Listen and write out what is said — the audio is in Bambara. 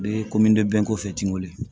ko min bɛ bɛn n ko fɛ ten n ko ye